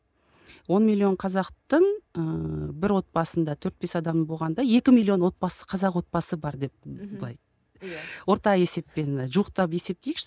он миллион қазақтың ыыы бір отбасында төрт бес адам болғанда екі миллион отбасы қазақ отбасы бар деп былай орта есеппен жуықтап есптейікші